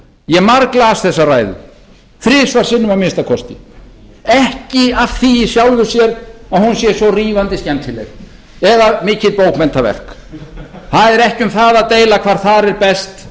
ég marglas þessa ræðu þrisvar sinnum að minnsta kosti ekki af því í sjálfu sér að hún sé svo rífandi skemmtileg eða mikið bókmenntaverk það er ekki um það að deila hvað þar er best